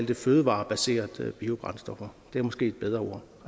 det fødevarebaserede biobrændstoffer det er måske et bedre